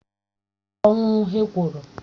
Ọ nwụrụ ọnwụ ekworo